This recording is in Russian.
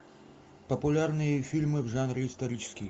популярные фильмы в жанре исторический